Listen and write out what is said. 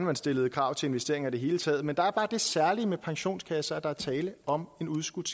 man stillede krav til investeringer i det hele taget men der er bare det særlige ved pensionskasser at der er tale om en udskudt